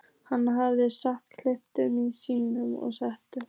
Hann hafði sjálfsagt keypt hann í síðustu siglingu.